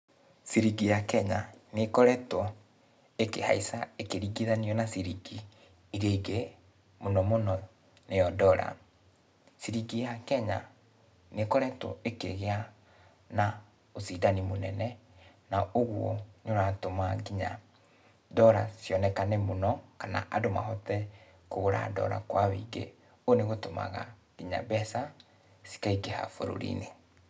Ciringi ya Kenya nĩkoretũo, ĩkĩhaica, ĩkĩringithanio na ciringi iria ingĩ, mũno mũno nĩyo Dollar. Ciringi ya Kenya nĩkoretũo ĩkĩgĩa na ũcindani mũnene, na ũguo nĩũratũma kinya Dollar cionekane mũno, kana andũ mahote kũgũra Dollar kwa wĩingĩ. Ũũ nĩũgĩtũmaga, kinya mbeca cikaingĩha bũrũri-inĩ.